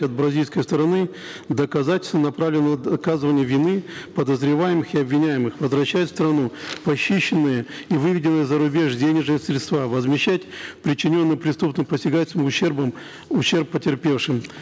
от бразильской стороны доказательства направленные на доказывание вины подозреваемых и обвиняемых возвращать в страну похищенные и выведенные за рубеж денежные средства возмещать причиненный преступным посягательством ущерб потерпевшим